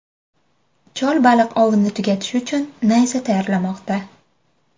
Chol baliq ovini tugatish uchun nayza tayyorlamoqda.